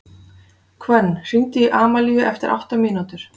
Hvönn, hringdu í Amalíu eftir átta mínútur.